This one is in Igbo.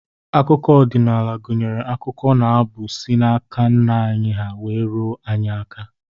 Akụkọ ọdịnala gụnyere akụkọ na abụ, si n'aka nna anyị ha wee ruo anyị aka.